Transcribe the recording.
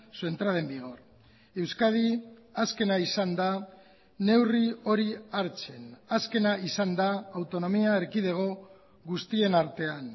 su entrada en vigor euskadi azkena izan da neurri hori hartzen azkena izan da autonomia erkidego guztien artean